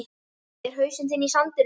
Er hausinn þinn í sandinum?